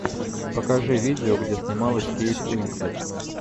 покажи видео где снималась кейт уинслет